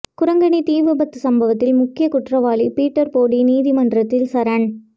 குரங்கணி தீ விபத்து சம்பவத்தில் முக்கிய குற்றவாளி பீட்டர் போடி நீதிமன்றத்தில் சரண்